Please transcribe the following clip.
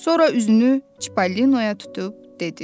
Sonra üzünü Çipollinoya tutub dedi.